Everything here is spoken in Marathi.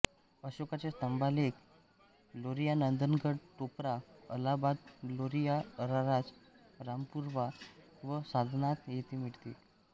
अशोकाचे स्तंभालेख लोरिया नंदनगड टोपरा अलाहाबाद लोरिया अरराज रामपुरवा व सारनाथ येथे मिळाले